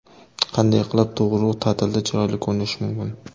Qanday qilib tug‘uruq ta’tilida chiroyli ko‘rinish mumkin?